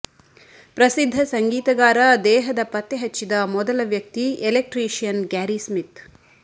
ಪ್ರಸಿದ್ಧ ಸಂಗೀತಗಾರ ದೇಹದ ಪತ್ತೆಹಚ್ಚಿದ ಮೊದಲ ವ್ಯಕ್ತಿ ಎಲೆಕ್ಟ್ರಿಷಿಯನ್ ಗ್ಯಾರಿ ಸ್ಮಿತ್